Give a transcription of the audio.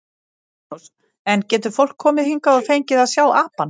Magnús: En getur fólk komið hingað og fengið að sjá apann?